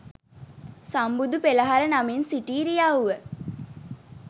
සම්බුදු පෙළහර නමින් සිටි ඉරියව්ව